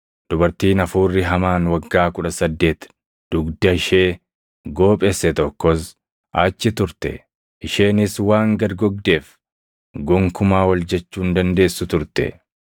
Dubartiin hafuurri hamaan waggaa kudha saddeeti dugda ishee goophesse tokkos achi turte; isheenis waan gad gogdeef gonkumaa ol jechuu hin dandeessu turte.